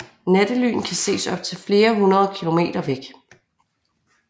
Nattelyn kan ses op til flere hundrede kilometer væk